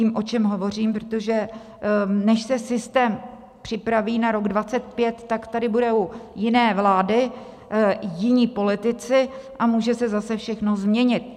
Vím, o čem hovořím, protože než se systém připraví na rok 2025, tak tady budou jiné vlády, jiní politici a může se zase všechno změnit.